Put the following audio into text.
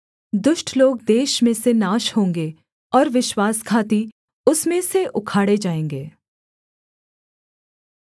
दुष्ट लोग देश में से नाश होंगे और विश्वासघाती उसमें से उखाड़े जाएँगे